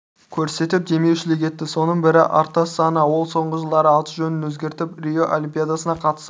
көрсетіп демеушілік етті соның бірі артас саана ол соңғы жылдары аты-жөнін өзгертіп рио олимпиадасына қатысар